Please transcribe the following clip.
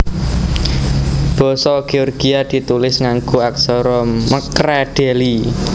Basa Géorgia ditulis nganggo aksara mkredeli